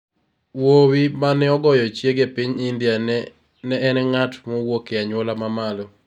Wuowi ma ne ogoyo chiege e piny India ne en ng'at mowuok e anyuola ma malo